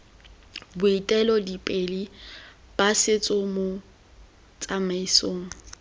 boeteledipele ba setso mo tsamaisong